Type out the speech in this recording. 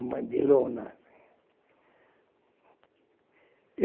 É uma de lona.